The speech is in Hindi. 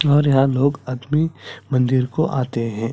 और यहाँ लोग अपने मंदिर को आते है।